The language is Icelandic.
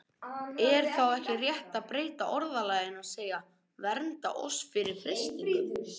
Er þá ekki rétt að breyta orðalaginu og segja: Vernda oss fyrir freistingum?